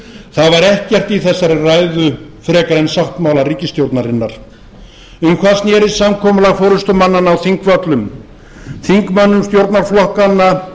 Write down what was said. það var ekkert í þessari ræðu frekar en sáttmála ríkisstjórnarinnar um hvað snerist samkomulag forustumannanna á þingpöllum þingmönnum stjórnarflokkanna